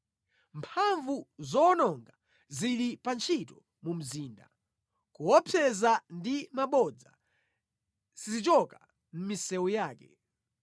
Mphamvu zowononga zili pa ntchito mu mzinda; kuopseza ndi mabodza sizichoka mʼmisewu yake.